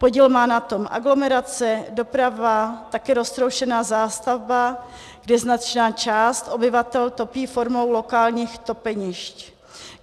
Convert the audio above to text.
Podíl má na tom aglomerace, doprava, taky roztroušená zástavba, kde značná část obyvatel topí formou lokálních topenišť.